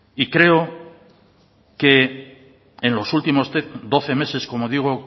y creo que en los últimos doce meses como digo